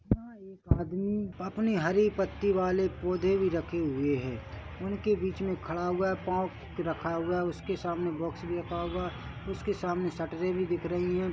वहाँ एक आदमी अपने हरी पत्ती वाले पौधे भी रखे हुए है उनके बीच मे खड़ा हुआ है पाँव रखा हुआ है उसके सामने बॉक्स भी रखा हुआ है उसके सामने शटरे भी दिख रही है।